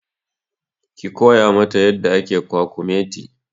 Ki koya ma ta yadda ake kwakumeti!